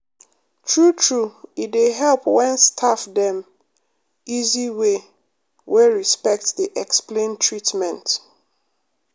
true true e dey help when staff dem easy way wey respect dey explain treatment.